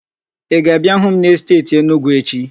Ị ga-abịa hụ m n'esteeti Enugwu echi?